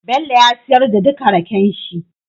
Bello ya siyar da duka rakenshi